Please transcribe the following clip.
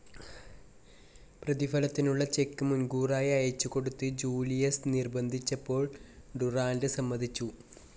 പ്രതിഫലത്തിനുള്ള cheque മുൻകൂറായി അയച്ചുകൊടുത്ത് Julius നിർബ്ബന്ധിച്ചപ്പോൾ ഡുറാന്റ് സമ്മതിച്ചു.